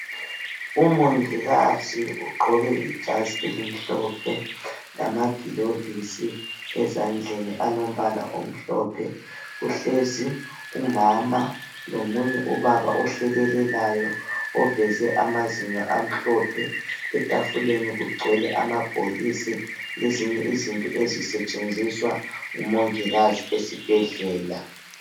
Umongikazi ugqoke ijazi elimhlophe lamagilovisi ezandleni alombala omhlophe. Uhlezi umama lomunye ubaba ohlekelelayo oveze amazinyo amhlophe, etafuleni kugcwele amabhokisi lezinye izinto ezisetshenziswa ngumongikazi esibhedlela.